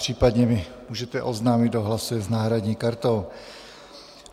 Případně mi můžete oznámit, kdo hlasuje s náhradní kartou.